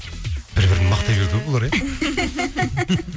бір бірін мақтай берді ғой бұлар иә